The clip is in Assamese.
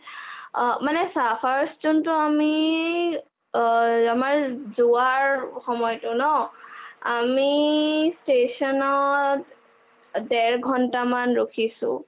অ.. মানে চা first যোনটোও আমিই আমাৰ যোৱাৰ সময়টো ন আমি station ত ডেৰ ঘণ্টামান ৰখিছো